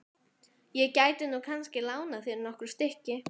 Ég gæti nú kannski lánað þér nokkur stykki.